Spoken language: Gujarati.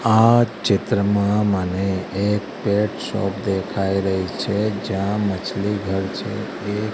આ ચિત્રમાં મને એક પેટ શોપ દેખાય રહી છે જ્યાં માછલી ઘર છે એ--